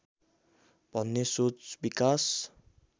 भन्ने सोच विकास